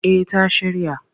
Eh ta shirya.